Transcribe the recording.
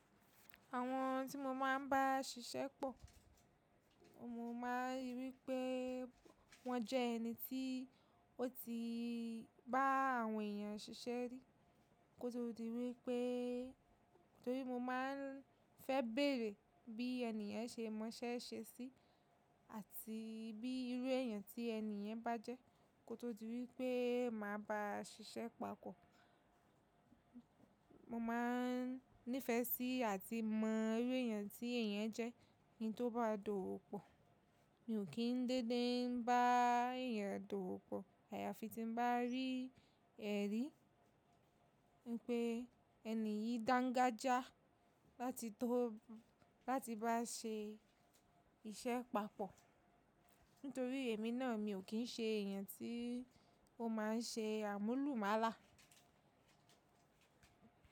Àwọn tí mo máa ń bá ṣiṣẹ́ pọ̀, mo máa rí pé wọ́n jẹ́ ẹni tí ó ti bá àwọn èèyàn ṣiṣẹ́ rí. Kótó di wípé, torí mo máa ń fẹ́ bẹ̀ẹ̀rẹ̀ bí ènìyàn ṣe mọ ṣẹ́ ṣe sí àti bí irú èèyàn tí ènìyàn bá jẹ́. Kótó di wípé màá ba ṣiṣẹ́ papọ̀, mo máa ń nífẹ̀ẹ́ sí àti mọ irú èèyàn tí èèyàn yen jẹ́. Ki n tó bá dowo pọ̀, mi ò kín dédé ń bá èèyàn dowo pọ̀. Àyàfi tí n bá rí ẹ̀rí wípé ẹni yìí dáńgájíá láti tó, láti bá ṣe iṣẹ́ papọ̀. Nítorí èmi náà mi ò kì ń ṣe èèyàn tí ó máa ń ṣe àmúlùmálà.